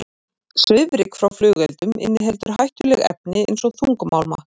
Svifryk frá flugeldum inniheldur hættuleg efni eins og þungmálma.